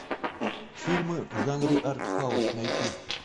фильмы в жанре артхаус найти